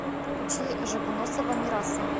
включи жугунусова мираса